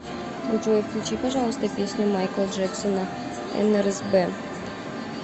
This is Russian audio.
джой включи пожалуйста песню майкла джексона нрзб